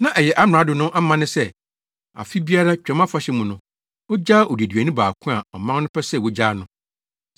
Na ɛyɛ amrado no amanne sɛ afe biara Twam Afahyɛ mu no, ogyaa odeduani baako a ɔman no pɛ sɛ wogyaa no.